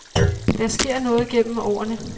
Der sker noget gennem årene.